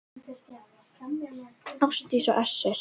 Ásdís og Össur.